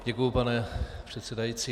Děkuji, pane předsedající.